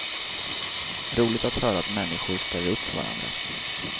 Roligt att höra att människor ställer upp för varandra.